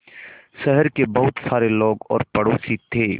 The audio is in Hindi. शहर के बहुत सारे लोग और पड़ोसी थे